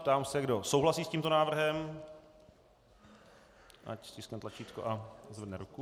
Ptám se, kdo souhlasí s tímto návrhem, ať stiskne tlačítko a zvedne ruku.